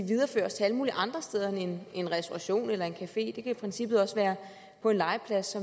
videreføres til alle mulige andre steder end i en restauration eller en café det kan i princippet også være på en legeplads